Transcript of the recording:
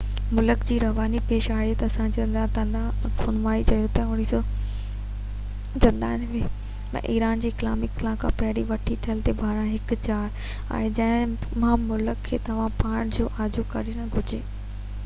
ملڪ جي روحاني پيشوا آیت اللہ علی خامنائي چيو تہ 1979 ۾ ايران جي اسلامي انقلاب کان پهرين کان وٺي تيل تي ڀاڙڻ هڪ ڄار آهي جنهن مان ملڪ کي پنهنجو پاڻ کي آجو ڪرڻ گهرجي